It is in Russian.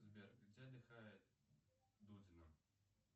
сбер где отдыхает дудина